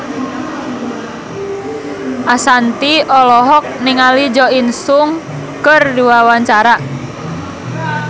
Ashanti olohok ningali Jo In Sung keur diwawancara